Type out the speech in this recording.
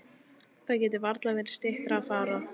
Það gat varla verið styttra að fara.